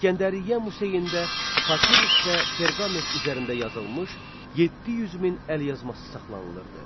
İsgəndəriyyə Museyində papirus və perqament üzərində yazılmış 700 min əlyazması saxlanılırdı.